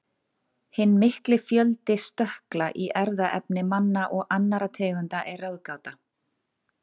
Hinn mikli fjöldi stökkla í erfðaefni manna og annarra tegunda er ráðgáta.